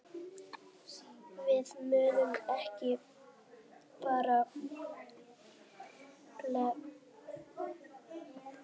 Við munum ekki bara bíða.